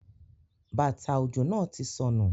Bata ojo náa ti sọnu